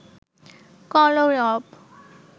কলরব